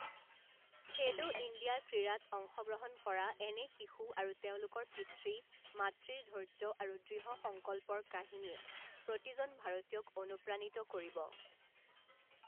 খেলো ইণ্ডিয়া ক্ৰীড়া ত অংশগ্ৰহণ কৰা এনে শিশু আৰু তেওঁলোকৰ পিতৃ মাতৃৰ ধৈৰ্য আৰু দৃঢ় সংকল্পৰ কাহিনীয়ে প্ৰতিজন ভাৰতীয়ক অনুপ্ৰাণিত কৰিব।